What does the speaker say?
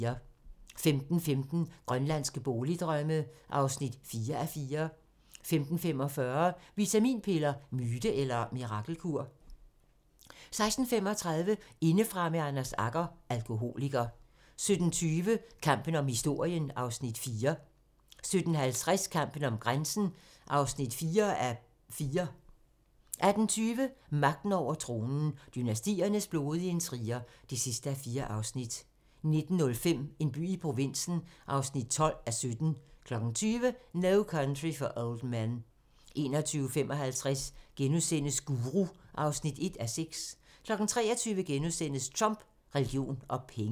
15:15: Grønlandske boligdrømme (4:4) 15:45: Vitaminpiller - myte eller mirakelkur? 16:35: Indefra med Anders Agger - Alkoholiker 17:20: Kampen om historien (Afs. 4) 17:50: Kampen om grænsen (4:4) 18:20: Magten over tronen - dynastiernes blodige intriger (4:4) 19:05: En by i provinsen (12:17) 20:00: No Country for Old Men 21:55: Guru (1:6)* 23:00: Trump, religion og penge *